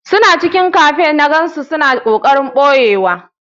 Suna cikin cafe na gansu suna kokarin boyewa.